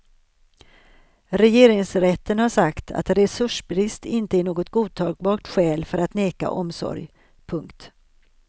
Regeringsrätten har sagt att resursbrist inte är något godtagbart skäl för att neka omsorg. punkt